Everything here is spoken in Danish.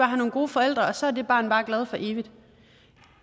have nogle gode forældre og så er det barn bare glad for evigt